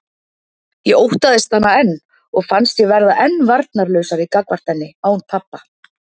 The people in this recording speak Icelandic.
Ég óttaðist hana enn og fannst ég verða enn varnarlausari gagnvart henni án pabba.